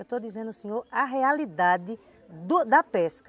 Eu estou dizendo ao senhor, a realidade do da pesca.